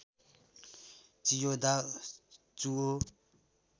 Chiyoda चुओ